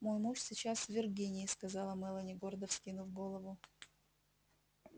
мой муж сейчас в виргинии сказала мелани гордо вскинув голову